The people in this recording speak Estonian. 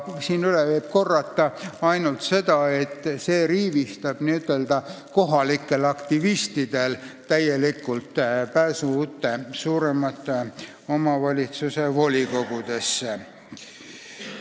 Siin võib üle korrata ainult seda, et see täielikult riivistab n-ö kohalike aktivistide pääsu suuremate omavalitsuste volikogudesse.